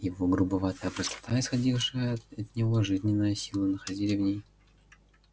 его грубоватая простота исходившая от него жизненная сила находили в ней